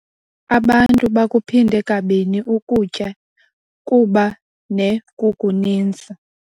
Abantu bakuphinde kabini ukutya kuba nekukuninzi.